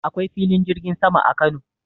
Akwai filin jirgin sama a Kano.